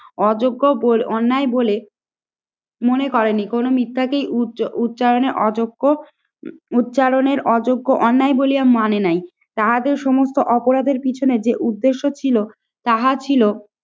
অযোগ্য অন্যায় বলে মনে করেনি। কোন মিথ্যাকেই উচ্চারণে অযোগ্য, উচ্চারণের অযোগ্য অন্যায় বলিয়া মানে নাই। তাহাদের সমস্ত অপরাধের পিছনে যে উদ্দেশ্য ছিল তাহা ছিল